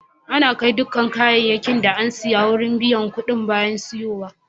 Ana kai dukan kayakin da an siya wurin biyan kuɗi bayan siyowa.